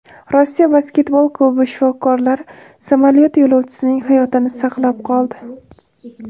Rossiya basketbol klubi shifokori samolyot yo‘lovchisining hayotini saqlab qoldi.